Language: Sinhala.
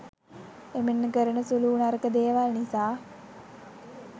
එමෙන්ම කරන සුළුවූ නරක දේවල් නිසා